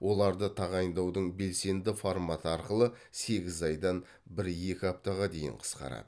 оларды тағайындаудың белсенді форматы арқылы сегіз айдан бір екі аптаға дейін қысқарады